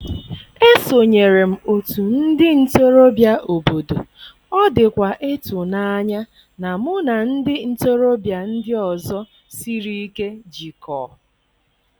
Esonyere m òtù ndị ntorobịa obodo, ọ dịkwa ịtụnanya na mụ na ndị ntorobịa ndị ọzọ siri ike jikọọ.